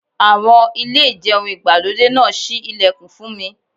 Àwọn.... Ilé ìjẹun ìgbàlódé náà ṣí ilẹ̀kùn fún mi.